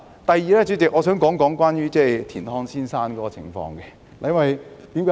第二，主席，我想說說田漢先生。